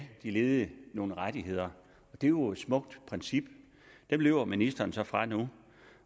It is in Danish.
de ledige nogle rettigheder det er jo et smukt princip det løber ministeren så fra nu